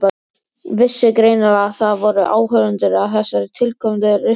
Vissi greinilega að það voru áhorfendur að þessari tilkomumiklu rispu.